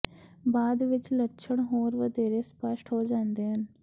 ਬਾਅਦ ਵਿੱਚ ਲੱਛਣ ਹੋਰ ਵਧੇਰੇ ਸਪੱਸ਼ਟ ਹੋ ਜਾਂਦੇ ਹਨ